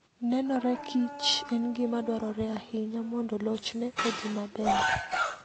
Nenore kich en gima dwarore ahinya mondo lochne odhi maber.